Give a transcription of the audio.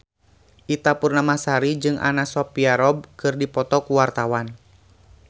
Ita Purnamasari jeung Anna Sophia Robb keur dipoto ku wartawan